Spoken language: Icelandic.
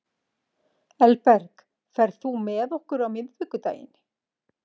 Elberg, ferð þú með okkur á miðvikudaginn?